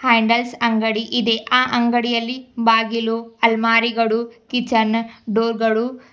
handles ಅಂಗಡಿ ಇದೆ ಆ ಅಂಗಡಿಯಲ್ಲಿ ಬಾಗಿಲು ಅಲ್ಮಾರಿಗಳು ಕಿಚನ್ ಡೋರ್ಗಳು --